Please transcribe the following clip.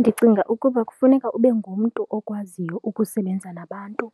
Ndicinga ukuba kufuneka ube ngumntu okwaziyo ukusebenza nabantu,